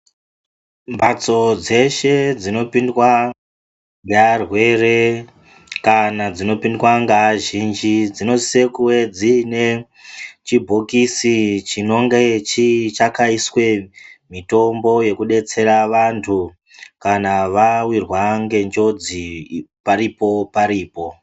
Mhatso dzeshe dzinopindwa nearwere kana dzinopindwa ngeazhinji dzinosise kuve dziine chibhokisi chinonge chakaiswe mitombo yekudetsera vantu kana vapindwa ngenjodzi paripo paripo.